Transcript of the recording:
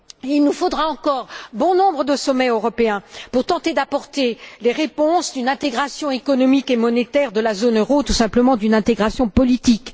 Il nous faudra encore bon nombre de sommets européens pour tenter d'apporter les réponses d'une intégration économique et monétaire de la zone euro, tout simplement d'une intégration politique.